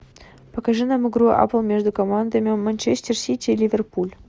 покажи нам игру апл между командами манчестер сити и ливерпуль